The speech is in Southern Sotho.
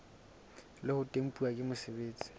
le ho tempuwa ke mosebeletsi